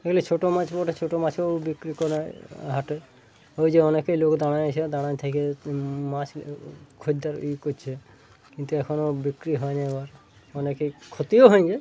ছোট মাছ বাটে ছোট মাছ ও বিক্রি করেহাটে ওই যে অনেকে লোক দাড়াই আছে দাড়াই থাকে মাছ খোরদের ই- করছে কিন্তু এখনো বিক্রি হয়নি আবার অনেকের ক্ষতিও হয়নি ।